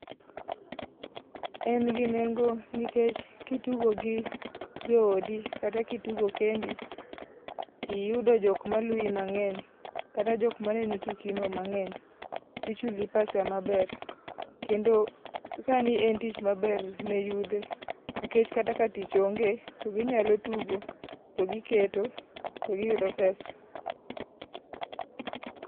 En gi nengo nikech kitugo gi jo odi kata kitugo kendo, tiyudo jok ma luwi mang'eny, kata jok maneno tuki no mang'eny, tichuli pesa maber. Kendo, sani en tich maber ne yudhe nikech kata ka tich onge, to ginyalo tugo to giketo to giyudo pesa.